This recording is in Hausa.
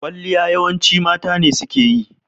Ƙwalliya yawanci mata ne suke yi